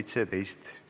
Istungi lõpp kell 12.30.